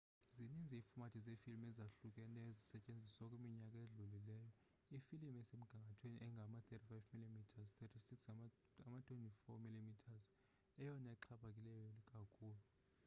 zininzi iifomathi zeefilimu ezahlukeneyo ezisetyenzisiweyo kwiminyaka edlulileyo. ifilimu esemgangathweni engama-35 mm 36 ngama-24 mm yeyona ixhaphake kakhulu